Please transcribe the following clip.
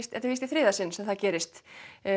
þetta er víst í þriðja sinn sem það gerist